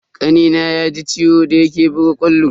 Kanina ya ji ciwo da yake buga ƙwallo.